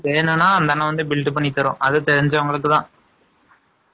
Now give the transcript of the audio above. வேணும்ன்னா, அந்த அண்ணன் வந்து, build பண்ணி தர்றோம். அது தெரிஞ்சவங்களுக்குதான்